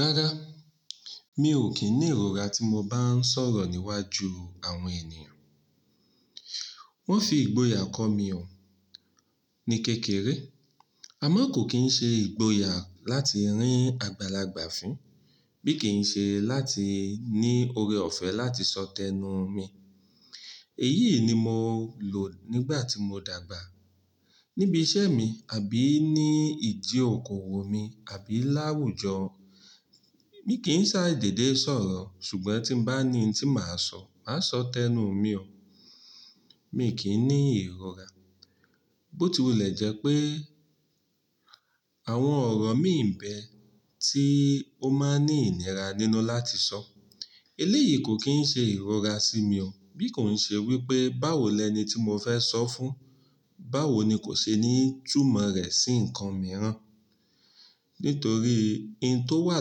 Rárá, mi ò kín ní ìrora tí mo bá ń sọ̀rọ̀ níwájú àwọn ènìyàn. Wọ́n fi ìgboyà kọ́ mi o, ní kékeré. Àmọ́ kò kín ṣe ìgboyà láti rín àgbàlagbà fín, bí kì í ṣe láti ní oore ọ̀fẹ́ láti sọ tẹnu mi. Èyí ni mo lò nígbà tí mo dàgbà. Níbi iṣẹ́ mi àbí ní ìdí òkòwò mi, àbí láwùjọ, mi kì í sádèdé sọ̀rọ̀. Ṣùgbọ́n tí bá ní ohun tí màá sọ, màá sọ tẹnu mi o. Mi kì í ní ìrora. Bó ti wùlẹ̀ jẹ́ pé àwọn ọ̀rọ̀ mí ń bẹ tí ó máa ń ní ìníra nínú láti sọ. Eléyìí kò kín ṣe ìrora sí mi o. Bí kò ń ṣe wípé báwo lẹni tí mo fẹ́ sọ fún, báwo ni kò ṣe ní túmọ̀ rẹ̀ sí ǹkan mìíràn. Nítorí ohun tó wà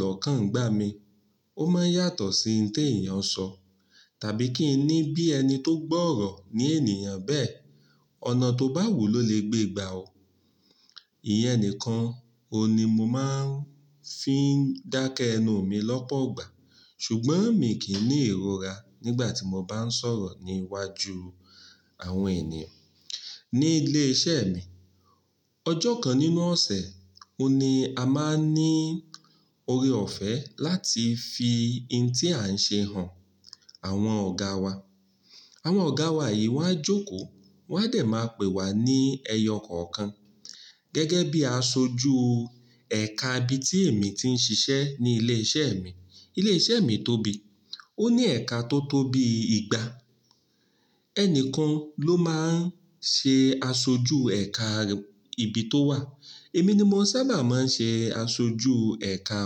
lọ́kàn ngbà mi, ó máa ń yàtọ̀ sí ohun tí èèyàn sọ. Tàbí kí í ní bí ẹni tó gbọ́ ọ̀rọ̀ ní ènìyàn bẹ́ẹ̀, ọ̀nà tó bá wù ló lè gbé gbà o. Ìyẹn nìkan oun ni mo máa ń fi ń dákẹ́ ẹnu mi lọ́pọ̀ igbà. Ṣùgbọ́n mi kì í ní ìrora nígbà tí mo bá ń sọ̀rọ̀ níwájú àwọn ènìyàn. Ní ilé iṣẹ́ mi, ọjọ́ kan nínú ọ̀sẹ̀ oun ni a máa ń ní oore ọ̀fẹ́ láti fi ohun tí à ń ṣe hàn àwọn ọ̀gáa wa. Àwọn ọ̀gáa wa yìí wọ́n á jókòó, wọ́n á dẹ̀ máa pè wá ní ẹyọ kọ̀ọ̀kan. Gẹ́gẹ́ bí aṣojú ẹ̀ka ibi tí èmi ti ń ṣiṣẹ́ ní ilé iṣẹ́ mi. Ilé iṣẹ́ mi tóbi, ó ní ẹ̀ka tó tóbi igba. Ẹnìkan ló máa ń ṣe aṣojú ẹ̀ka ibi tó wà. Èmi ni mo sábà máa ń ṣe aṣojú ẹ̀ka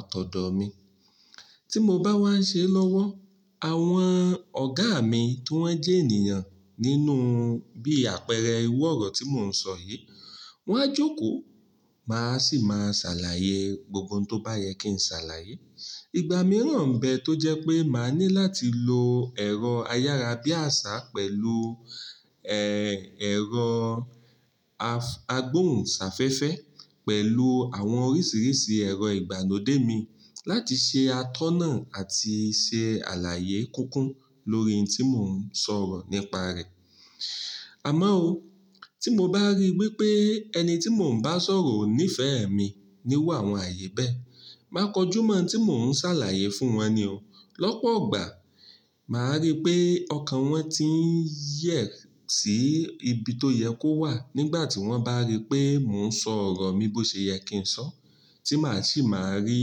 ọ̀tọ̀ọ̀tọ̀ mi. Tí mo bá wá ń ṣe lọ́wọ́, àwọn ọ̀gá mi tí wọ́n jẹ́ ènìyàn nínú bí àpẹẹrẹ iru ọ̀rọ̀ tí mò ń sọ yìí, wọ́n á jókòó, màá sì máa ṣàlàyé gbogbo ohun tó bá yẹ kí n ṣàlàyé. Igba mìíràn ń bẹ tó jẹ́ pé màá ní láti lo ẹ̀rọ ayára bí àṣá pẹ̀lú, ẹ̀rọ agbóhùn sáfẹ́fẹ́, pẹ̀lú àwọn oríṣìíríṣìí ẹ̀rọ ìgbàlodé mi láti ṣe atọ́nà àti ṣe àlàyé kúnkùn lórí ohun tí mò ń sọ̀rọ̀ nípa rẹ̀. Àmọ́ o, tí mo bá rí wípé ẹni tí mò ń bá sọ̀rọ̀ ò níí fẹ́ ẹ mi níwò àwọn ààyè bẹ́ẹ̀, màá kọjú mọ ohun tí mò ń ṣàlàyé fún wọn ni o. Lọ́pọ̀ igbà, màá rí pé ọkàn wọn ti ń yẹ̀ sí ibi tó yẹ kó wà nígbà tí wọ́n bá rí pé mò ń sọ ọ̀rọ̀ bí ó ṣe yẹ kí n sọ. Tí màá sì máa rí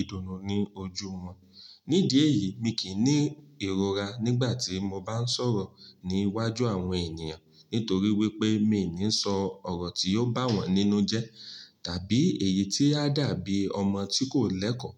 ìdùnnú ní ojú wọn. Nídi èyí mi kì í ní ìrora nígbà tí mo bá ń sọ̀rọ̀ níwájú àwọn ènìyàn. Nítorí wípé mi ò ní ń sọ ọ̀rọ̀ tí yóò bá wọn nínú jẹ́. Tàbí èyí tí a dàbí ọmọ tí kò lẹ́kọ̀ọ́.